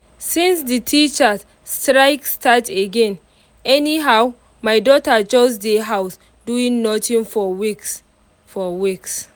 since the teachers strike start again anyhow my daughter just dey house doing nothing for weeks for weeks